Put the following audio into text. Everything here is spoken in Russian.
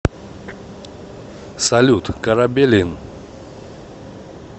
салют корабелин